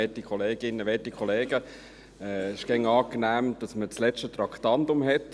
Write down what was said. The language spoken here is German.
Es ist immer angenehm, wenn man das letzte Traktandum hat.